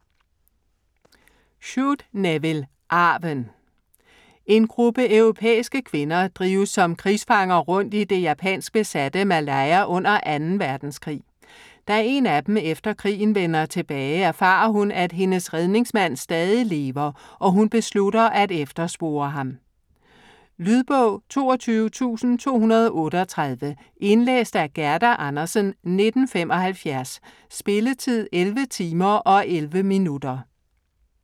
Shute, Nevil: Arven En gruppe europæiske kvinder drives som krigsfanger rundt i det japansk-besatte Malaya under 2. verdenskrig. Da en af dem efter krigen vender tilbage, erfarer hun, at hendes redningsmand stadig lever, og hun beslutter at efterspore ham. Lydbog 22238 Indlæst af Gerda Andersen, 1975. Spilletid: 11 timer, 11 minutter.